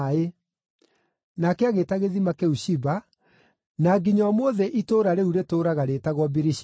Nake agĩĩta gĩthima kĩu Shiba, na nginya ũmũthĩ itũũra rĩu rĩtũũraga rĩĩtagwo Birishiba.